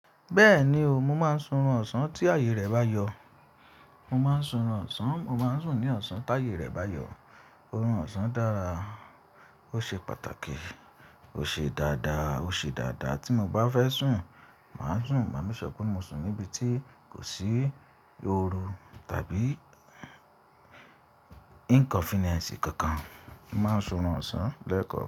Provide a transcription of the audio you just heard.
Bẹ́ẹ̀ni o, mo máa ń sun oorun ọ̀sán tí ààyè rẹ̀ bá yọ. Mo máa ń sun oorun ọ̀sán, mo máa ń sùn ní ọ̀sán tí ààyè rẹ̀ bá yọ. Orun ọ̀sán dára, ó ṣe pàtàkì, ó ṣe dáadáa, ó ṣe dáadáa. Tí mo bá fẹ́ sùn, màá sùn. Màá make sure pé mo sùn níbi tí kò sí ooru tàbí inconvenience kankan. Mo máa ń sunran ọ̀sán lẹ́ẹ̀kan.